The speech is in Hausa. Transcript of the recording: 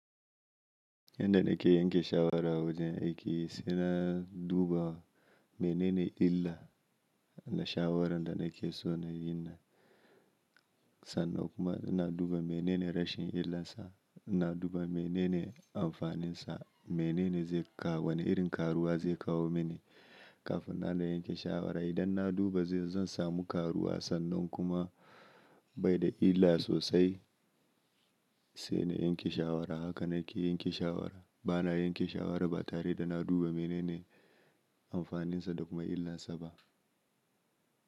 Inda nake yanke shawara wajen aiki sai na duba menene illar na shawaran da nake so na yi nan, sannan kuma na duba menene rashin illarsa, ina duba menene amfaninsa, menene zai kawo, wane irin karuwa zai kawo mini kafin na na yanke shawara. Idan na duba zai zan samu karuwa sannan kuma bai da illa sosai sai na yanke shawara. Haka nake yanke shawara. Bana yanke shawara ba tare da na duba menene amfaninsa da kuma illarsa ba.